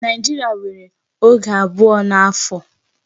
Nigeria nwèrè oge abụọ n'afọ.